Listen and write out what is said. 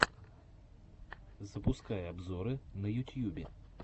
запускай обзоры в ютьюбе